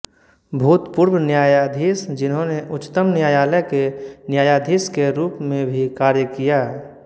भूतपूर्व न्यायाधीश जिन्होंने उच्चतम न्यायालय के न्यायाधीश के रूप में भी कार्य किया